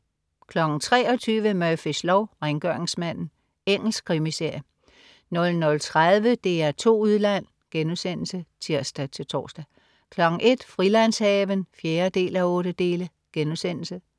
23.00 Murphys lov: Rengøringsmanden. Engelsk krimiserie 00.30 DR2 Udland* (tirs-tors) 01.00 Frilandshaven 4:8*